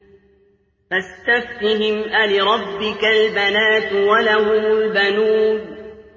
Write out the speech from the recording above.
فَاسْتَفْتِهِمْ أَلِرَبِّكَ الْبَنَاتُ وَلَهُمُ الْبَنُونَ